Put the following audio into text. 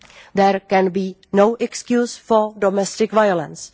There can be no excuse for domestic violence.